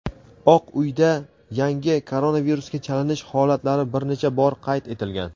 Oq uyda yangi koronavirusga chalinish holatlari bir necha bor qayd etilgan.